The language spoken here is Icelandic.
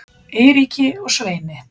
Eiríki og Sveini.